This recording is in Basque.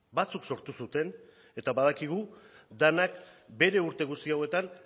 batzuk sortu zuten eta badakigu denak bere urte guzti hauetan